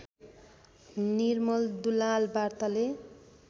निर्मल दुलाल वार्ताले